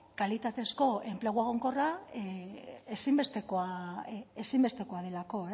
kalitatezko enplegu egonkorra ezinbestekoa delako